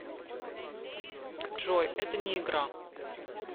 джой это не игра